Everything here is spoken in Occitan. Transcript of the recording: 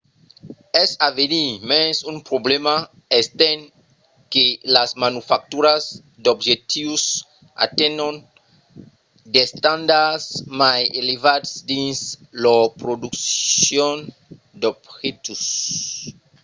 es a venir mens un problèma estent que las manufacturas d’objectius atenhon d’estandards mai elevats dins lor produccion d’objectius